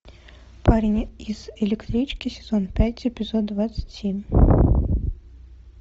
парень из электрички сезон пять эпизод двадцать семь